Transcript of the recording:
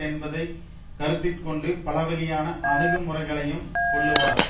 என்பதை கருத்திற்கொண்டு பலவகையான அணுகுமுறைகளையும் கொள்ளுவார்